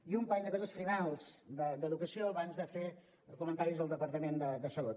i un parell de coses finals d’educació abans de fer comentaris del departament de salut